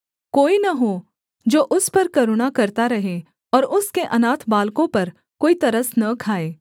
कोई न हो जो उस पर करुणा करता रहे और उसके अनाथ बालकों पर कोई तरस न खाए